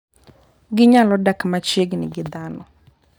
Ginyalo dak machiegni gi dhano.